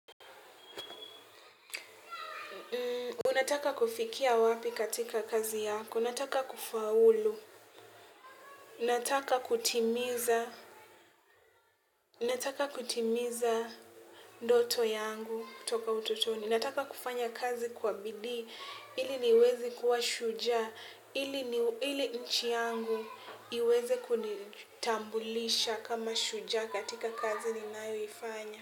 Unataka kufikia wapi katika kazi yako, nataka kufaulu, nataka kutimiza ndoto yangu kutoka utotoni, nataka kufanya kazi kwa bidii, ili niweze kuwa shujaa, ili nchi yangu iweze kunitambulisha kama shujaa katika kazi ninayoifanya.